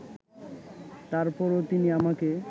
তার পরও তিনি আমাকে